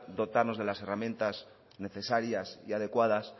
dotarnos de las herramientas necesarias y adecuadas